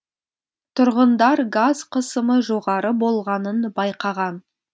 тұрғындар газ қысымы жоғары болғанын байқаған